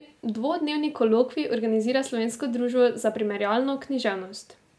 Dvodnevni kolokvij organizira Slovensko društvo za primerjalno književnost.